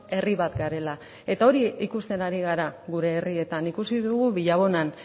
herri bat garela eta hori ikusten ari gara gure herrietan ikusi dugu villabonan